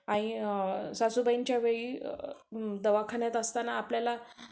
सासूबाईंच्या वेळी दवाखान्यात असताना आपल्याला